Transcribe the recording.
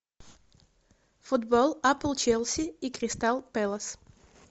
футбол апл челси и кристал пэлас